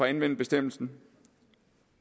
anvende bestemmelsen